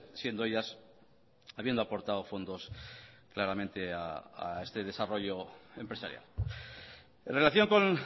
siendo ellas habiendo aportado fondos claramente a este desarrollo empresarial en relación con